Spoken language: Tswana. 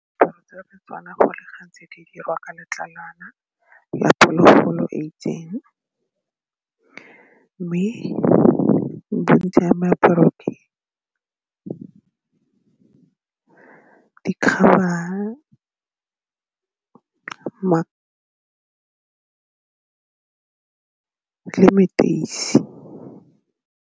Diaparo tsa Setswana go le gantsi di dirwa ka letlalwana a phologolo e itseng mme bo bontsha le leteisi.